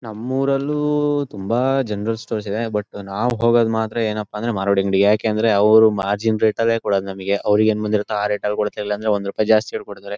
ನಮ್ಮೂರಲ್ಲೂ ತುಂಬಾ general stores ಇದೆ but ನಾವ್ ಹೋಗೋದ್ ಮಾತ್ರ ಏನಪ್ಪಾ ಅಂದ್ರೆ ಮಾರವಾಡಿ ಅಂಗಡಿಗೆ ಯಾಕಂದ್ರೆ ಅವ್ರು ಮಾರ್ಜಿನ್ ರೇಟ್ ಲ್ಲೇ ಕೊಡೋದ್ ನಮಗೆ ಅವ್ರಿಗೆ ಹೆಂಗ್ ಬಂದಿರುತ್ತೋ ಆ ರೇಟ್ ಲ್ ಕೊಡ್ತಾರೆ ಇಲ್ಲ ಅಂದ್ರೆ ಒಂದ್ ರುಪಾಯಿ ಜಾಸ್ತಿಯಲ್ ಕೊಡ್ತಾರೆ.